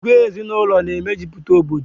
Ìgwè ezinaụlọ na e mejupụta Obodo